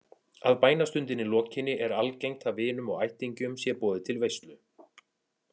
Að bænastundinni lokinni er algengt að vinum og ættingjum sé boðið til veislu.